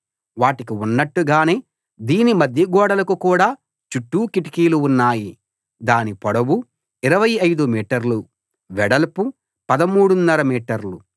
వాటికి ఉన్నట్టుగానే దీని మధ్యగోడలకు కూడా చుట్టూ కిటికీలు ఉన్నాయి దాని పొడవు 25 మీటర్లు వెడల్పు పదమూడున్నర మీటర్లు